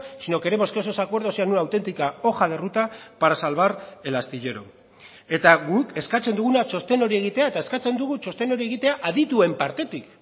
sino queremos que esos acuerdos sean una auténtica hoja de ruta para salvar el astillero eta guk eskatzen duguna txosten hori egitea eta eskatzen dugu txosten hori egitea adituen partetik